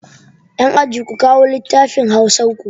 Yan aji, ku kawo lattafin hausar ku!